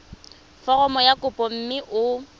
foromo ya kopo mme o